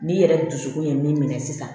N'i yɛrɛ dusukun ye min minɛ sisan